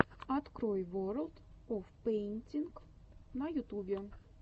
открой ворлд оф пэйнтинг на ютубе